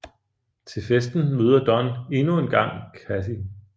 Til festen møder Don endnu engang Kathy